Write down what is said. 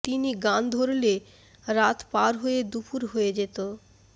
তিনি গান ধরলে রাত পার হয়ে দুপুর হয়ে যেত